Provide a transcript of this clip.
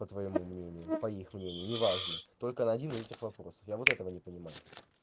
по твоему мнению по их мнению не важно только на один из этих вопросов я вот этого не понимаю